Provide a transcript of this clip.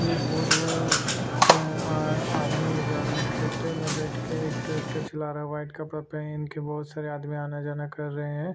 एक बहुत बड़ा आ आदमी जा रहा है ट्रेक्टर में बैठ के एक ट्रेक्टर चल रहा है वाइट कपड़ा पेहन के बहुत सारे आदमी आना जाना कर रहे है।